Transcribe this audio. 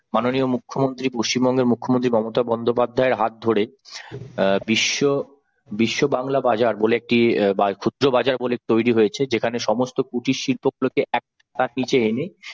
মাননীয় মুখ্যমন্ত্রী পশ্চিমবঙ্গের মুখ্যমন্ত্রী মমতা বন্দ্যোপাধ্যায়ের হাত ধরে অ্যাঁ বিশ্ব বিশ্ব বাংলা বাজার বলে একটি বাজার ক্ষুদ্র বাজার বলে তৈরি হয়েছে যেখানে সমস্ত কুটির শিল্পগুলিকে এক ছাদের নিচে এনে